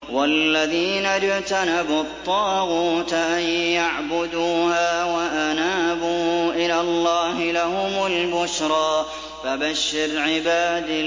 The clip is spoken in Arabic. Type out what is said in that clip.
وَالَّذِينَ اجْتَنَبُوا الطَّاغُوتَ أَن يَعْبُدُوهَا وَأَنَابُوا إِلَى اللَّهِ لَهُمُ الْبُشْرَىٰ ۚ فَبَشِّرْ عِبَادِ